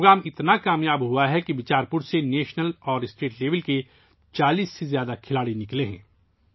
یہ پروگرام اتنا کامیاب رہا ہے کہ بیچار پور سے 40 سے زیادہ قومی اور ریاستی سطح کے کھلاڑی سامنے آئے ہیں